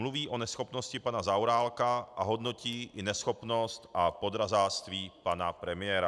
Mluví o neschopnosti pana Zaorálka a hodnotí i neschopnost a podrazáctví pana premiéra.